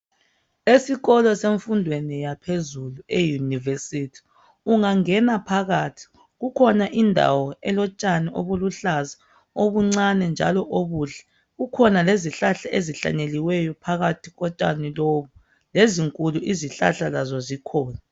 Esikolo semfundweni yaphezulu euniversity ungangena phakathi kukhona indawo elotshani obuluhlaza obuncane njalo obuhle kukhona lezihlahla ezihlanyeliweyo phakathi kotshani lobo lezinkulu izihlahla lazo zikhona.